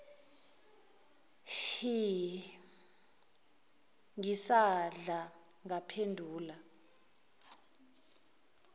hh ngisadla ngaphendula